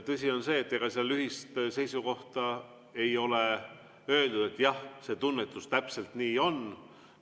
Tõsi on see, et ega seal ühist seisukohta ei ole, et jah, see tunnetus täpselt nii on.